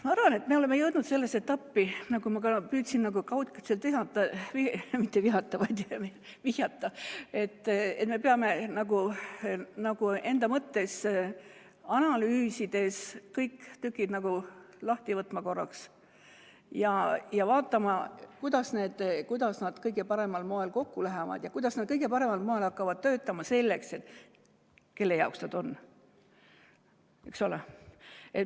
Ma arvan, et me oleme jõudnud sellesse etappi, nagu ma püüdsin ka kaudselt vihjata, et me peame enda mõttes analüüsides võtma kõik tükid nagu korraks lahti ja vaatama, kuidas nad kõige paremal moel kokku lähevad ja kuidas nad kõige paremal moel hakkavad töötama, selles mõttes, et kelle jaoks nad on.